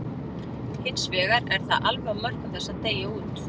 Hins vegar er það alveg á mörkum þess að deyja út.